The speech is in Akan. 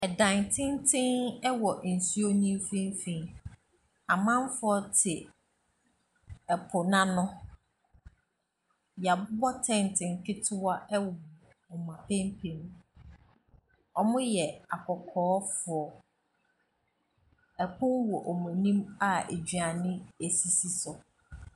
Ɛdan tenten wɔ nsuo no mfimfini. Amanfoɔ te ɛpo no ano. Wɔabobɔ tente nketewa wowɔ wɔn apampam. Wɔyɛ akɔkɔɔfoɔ. Pono wɔ wɔn anim a aduane sisi so.